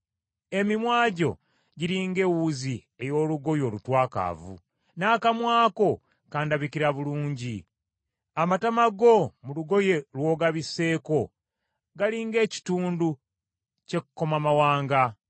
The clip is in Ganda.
Emimwa gyo giri ng’ewuzi ey’olugoye olutwakaavu; n’akamwa ko kandabikira bulungi. Amatama go mu lugoye lw’ogabisseeko gali ng’ekitundu ky’ekkomamawanga.